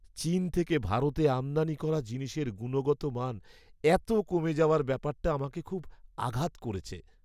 চীন থেকে ভারতে আমদানি করা জিনিসের গুণগত মান এত কমে যাওয়ার ব্যাপারটা আমাকে খুব আঘাত করেছে।